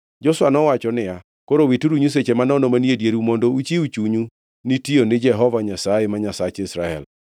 Joshua nowacho niya, “Koro wituru nyiseche manono manie dieru mondo uchiw chunyu ni tiyo ne Jehova Nyasaye, ma Nyasach Israel.”